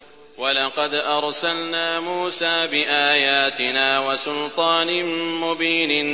وَلَقَدْ أَرْسَلْنَا مُوسَىٰ بِآيَاتِنَا وَسُلْطَانٍ مُّبِينٍ